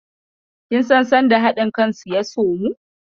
Do you know when their unity begins?